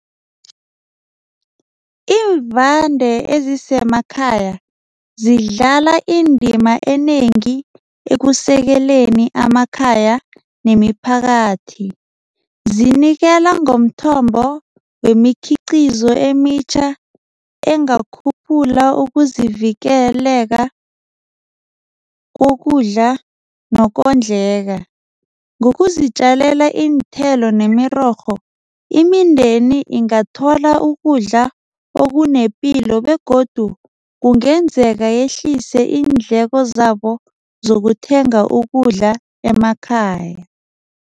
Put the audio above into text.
Iimvande ezisemakhaya zidlala indima enengi ekusekeleni amakhaya nemiphakathi. Zinikela ngomthombo wemikhiqizo emitjha engakhuphula ukuzivikeleka kokudla nokondlaka. Ngokuzitjalela iinthelo nemirorho imindeni ingathola ukudla okunepilo begodu kungenzeka yehlise iindleko zabo zokuthenga ukudla emakhaya.